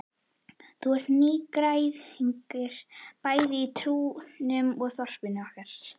Þú ert nýgræðingur bæði í trúnni og þorpinu okkar.